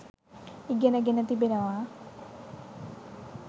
ඉගෙන ගෙන තිබෙනවා